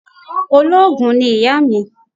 Olóògùn ni ìyá mi.